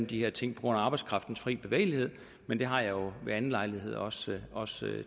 de her ting på grund af arbejdskraftens frie bevægelighed men det har jeg ved anden lejlighed også også